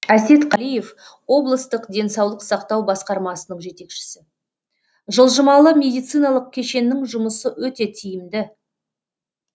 әсет қалиев облыстық денсаулық сақтау басқармасының жетекшісі жылжымалы медициналық кешеннің жұмысы өте тиімді